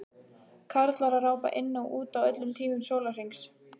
Karlar að rápa inn og út á öllum tímum sólarhrings.